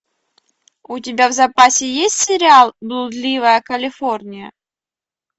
у тебя в запасе есть сериал блудливая калифорния